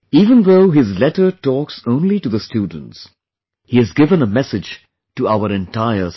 Even though his letter talks only to the students , he has given a message to our entire society